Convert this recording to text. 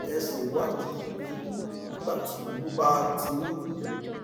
ẹ ṣe ìwádìí oyún nígbà tí oyún bá ti ń wú